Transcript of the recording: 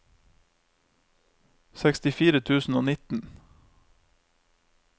sekstifire tusen og nitten